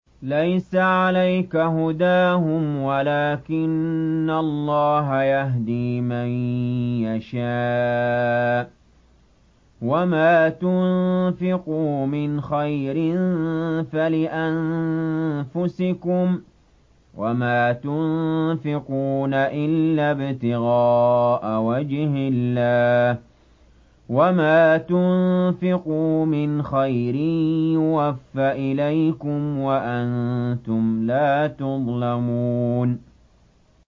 ۞ لَّيْسَ عَلَيْكَ هُدَاهُمْ وَلَٰكِنَّ اللَّهَ يَهْدِي مَن يَشَاءُ ۗ وَمَا تُنفِقُوا مِنْ خَيْرٍ فَلِأَنفُسِكُمْ ۚ وَمَا تُنفِقُونَ إِلَّا ابْتِغَاءَ وَجْهِ اللَّهِ ۚ وَمَا تُنفِقُوا مِنْ خَيْرٍ يُوَفَّ إِلَيْكُمْ وَأَنتُمْ لَا تُظْلَمُونَ